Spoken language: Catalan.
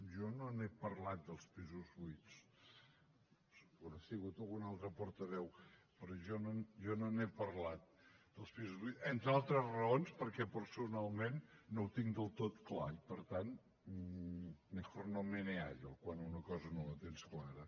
jo no n’he parlat dels pisos buits deu haver sigut algun altre portaveu però jo no n’he parlat dels pisos buits entre altres raons perquè personalment no ho tinc del tot clar i per tant mejor no meneallo quan una cosa no la tens clara